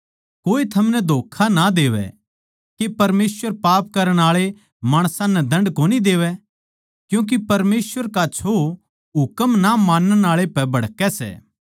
कोए थमनै धोक्खा ना देवै के परमेसवर पाप करण आळे माणसां नै दण्ड कोनी देवै क्यूँके परमेसवर का छो हुकम ना मानण आळे पे भड़कै सै